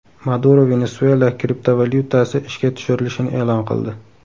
Maduro Venesuela kriptovalyutasi ishga tushirilishini e’lon qildi.